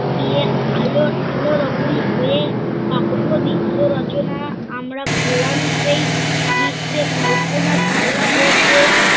তিরে আলো আলোরকম হয়ে অপূর্ব বিশ্ব রচনা আমরা করলাম সেই বিশ্বে কল্পনা চাওলা ও সেই